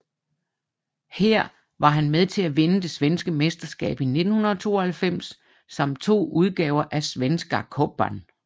Her var han med til at vinde det svenske mesterskab i 1992 samt to udgaver af Svenska Cupen